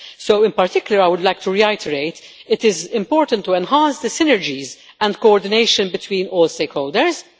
So, in particular, I would like to reiterate it is important to enhance the synergies and coordination between all stakeholders